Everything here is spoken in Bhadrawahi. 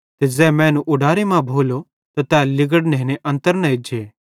ते ज़ै मैनू उडारे मां भोलो त तै लिगड़ां नेने अन्तर न एज्जे